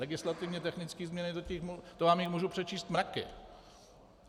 Legislativně technické změny, těch vám můžu přečíst mraky.